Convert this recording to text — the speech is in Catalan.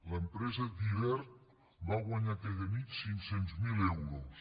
l’empresa diviertt va guanyar aquella nit cinc cents miler euros